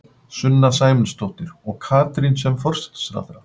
Sunna Sæmundsdóttir: Og Katrín sem forsætisráðherra?